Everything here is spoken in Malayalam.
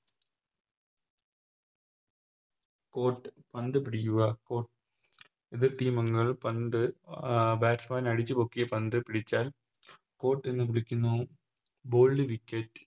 Caught പന്ത് പിടിക്കുക എതിർ Team അംഗങ്ങൾ പന്ത് അഹ് Batsman അടിച്ചുപൊക്കിയ പന്ത് പിടിച്ചാൽ Caught എന്ന് വിളിക്കുന്നു Bowled wicket